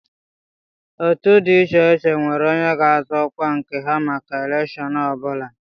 Otu dị iche iche nwere onye ga-azọ ọkwa nke ha maka elèkshón ọ bụla